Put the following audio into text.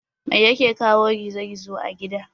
Mai yake kawo gizo gizo a gida?